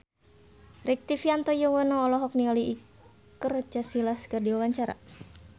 Rektivianto Yoewono olohok ningali Iker Casillas keur diwawancara